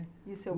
E seu